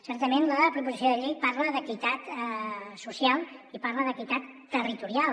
certament la proposició de llei parla d’equitat social i parla d’equitat territorial